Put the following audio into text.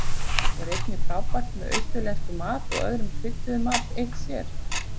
Er einnig frábært með austurlenskum mat og öðrum krydduðum mat, og eitt sér.